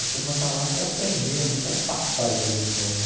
A turma está lá para aprender, não quer passar e ter diploma.